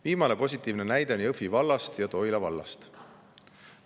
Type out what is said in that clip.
Viimane positiivne näide on Jõhvi vallast ja Toila vallast.